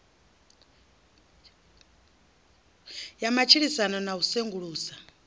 ya matshilisano na u sengulusa